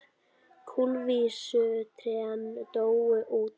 Kulvísu trén dóu út.